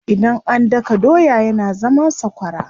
Idan an daka doya yana zama sakwara.